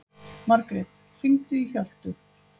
Margret, hringdu í Hjöltu.